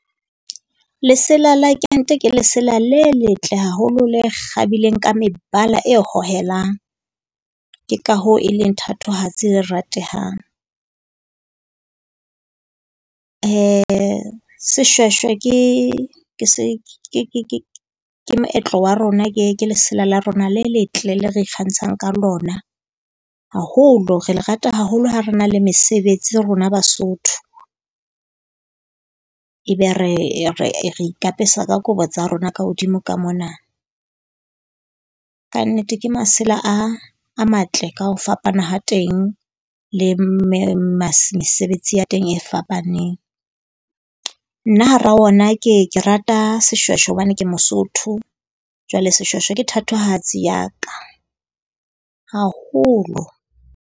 Lesela la kente ke lesela le letle haholo, le kgabileng ka mebala e hohelang. Ke ka hoo e leng thatohatsi e ratehang. Seshweshwe ke se ke moetlo wa rona, ke e ke lesela le rona le letle le re ikgantshang ka lona. Haholo re le rata haholo ha re na le mesebetsi ro na Basotho. Ebe re e re re ikapesa ka kobo tsa rona ka hodimo ka mona. Kannete ke masela a a matle ka ho fapana ha teng le mme mesebetsi ya teng e fapaneng. Nna hara ona ke ke rata seshweshwe hobane ke Mosotho. Jwale seshweshwe ke thatohatsi ya ka, haholo.